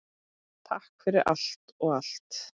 Takk fyrir allt og allt!